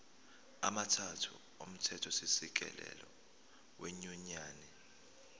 amathathu omthethosisekelo wenyunyane